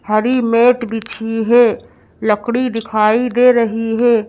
हरी mat बिछी है लकड़ी दिखाई दे रही है।